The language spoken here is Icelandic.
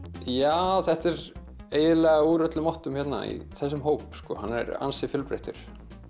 já þetta er eiginlega úr öllum áttum hérna í þessum hóp hann er ansi fjölbreyttur